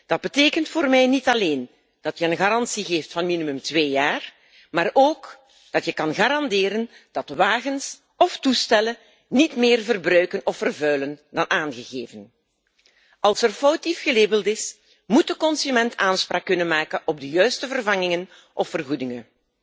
Dat betekent voor mij niet alleen dat je een garantie geeft van minimaal twee jaar, maar ook dat je kan garanderen dat wagens of toestellen niet meer verbruiken of vervuilen dan aangegeven. Als er foutief gelabeld is, moet de consument aanspraak kunnen maken op de juiste vervangingen of vergoedingen.